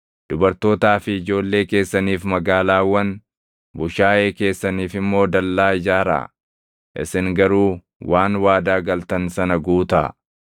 Dubartootaa fi ijoollee keessaniif magaalaawwan, bushaayee keessaniif immoo dallaa ijaaraa; isin garuu waan waadaa galtan sana guutaa.”